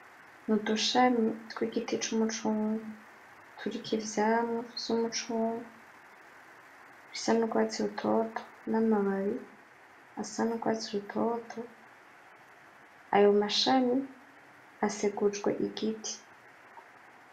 Udushami tw’igiti c’imicungwe turiko ivyamwa vy’umucungwe bisa n’urwatsi rutoto n’amababi asa n’urwatsi rutoto ayo mashami asekuje igiti.